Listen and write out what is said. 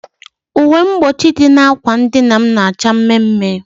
Uwe mgbochi dị na ákwà dịna m na acha mme mme